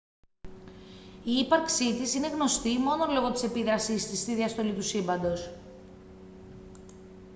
η ύπαρξή της είναι γνωστή μόνο λόγω της επίδρασής της στη διαστολή του σύμπαντος